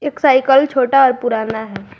Cycle छोटा और पुराना है।